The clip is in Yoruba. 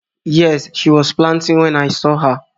Yes, she was planting when I saw her